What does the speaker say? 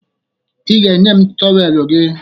Ị ga-enye m tọweelụ gị